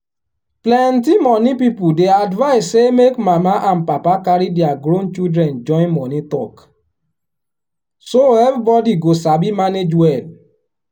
plenty money people dey advise say make mama and papa carry their grown children join money talk so everybody go sabi manage well.